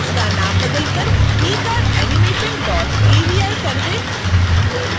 इसका नाम बदलकर ecardanimationavi कर दें